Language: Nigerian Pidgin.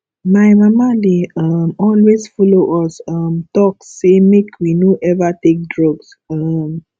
my mama dey um always follow us um talk sey make we no eva take drugs um